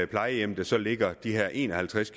plejehjem der så ligger de her en og halvtreds